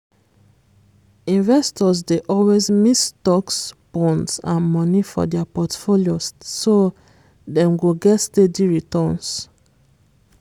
investors dey always mix stocks bonds and money for dia portfolio so dem go get steady returns.